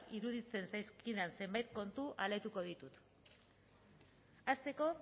iruditzen zaizkidan zenbait kontu alaituko ditut hasteko